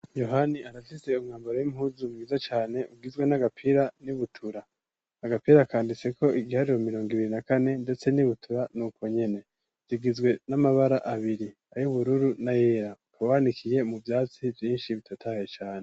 Yohani arafise umwambaro w'impuzu mwiza cane, ugizwe n'agapira n'ibutura. Agapira kanditseko igiharuro mirongo ibiri na kane, ndetse n'ibutura ni uko nyene. Bigizwe n'amabara abiri, ay'ubururu n'ayera. Ukaba wanikiye mu vyatsi vyinshi bitotaye cane.